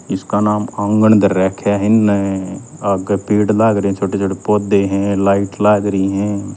इसका नाम आंगण धर राख्या ह इन्नह आग्ह पेड़ लाग रे छोटे छोटे पौधे ह लाइट लाग री हं।